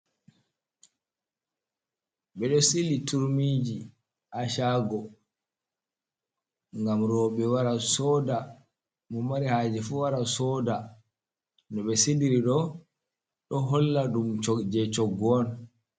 Ɓedo sili turmiji hashago gam rewɓe wara soda, mo mari haje fuu wara soda no ɓe siliri ɗo holla ɗum je shoggu on